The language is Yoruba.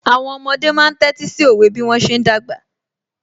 Àwọn ọmọdé máa ń tẹ́tí sí òwe bí wọ́n ṣe ń dàgbà